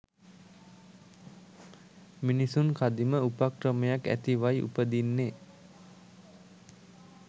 මිනිසුන් කදිම උපක්‍රමයක් ඇතිවයි උපදින්නෙ.